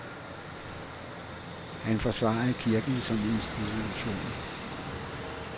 Han forsvarede kirken som institution.